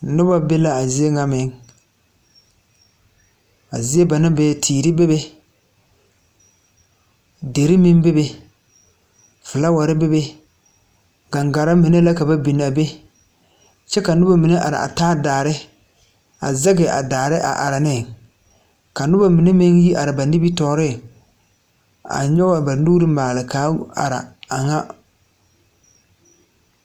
Nobɔ be laa ziebŋa meŋ a zie ba naŋ be teere bebe derre meŋ bebe flaawarre bebe gaŋgarre mine la ka ba binaa be kyɛ ka nobɔ mine are a taa daare a zege a daare a are neŋ ka nobɔ mine meŋ gi are ba nimitooreŋ a nyoge ba nuure maale kaa are a ŋa.